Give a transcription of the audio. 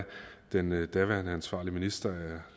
den daværende ansvarlige minister